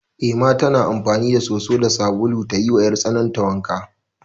Ema tana amfani da soso da sabulu ta yiwa 'yartsanarta wanka.